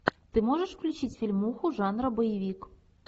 ты можешь включить фильмуху жанра боевик